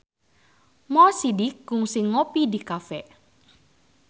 Mo Sidik kungsi ngopi di cafe